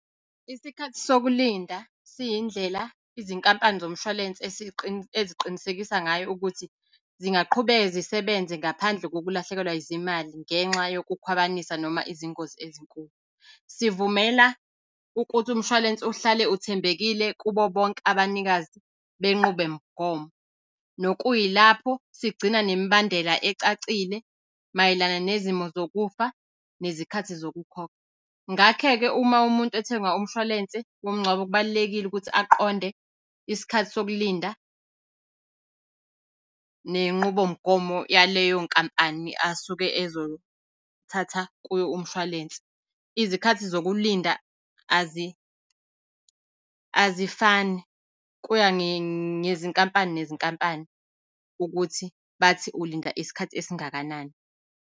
Isikhathi sokulinda siyindlela izinkampani zomshwalense eziqinisekisa ngayo ukuthi, zingaqhubeka zisebenze ngaphandle kokulahlekelwa zimali ngenxa yokukhwabanisa noma izingozi ezinkulu. Sivumela ukuthi umshwalense uhlale uthembekile kubo bonke abanikazi benqubomgomo, nokuyilapho sigcina nemibandela ecacile mayelana nezimo zokufa nezikhathi zokukhokha. Ngakhe-ke uma umuntu ethenga umshwalense womngcwabo, kubalulekile ukuthi aqonde isikhathi sokulinda nenqubomgomo yaleyo nkampani asuke ezothatha kuyo umshwalense. Izikhathi zokulinda azifani kuya ngezinkampani nezinkampani ukuthi bathi ulinda isikhathi esingakanani.